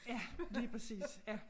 Ja lige præcis ja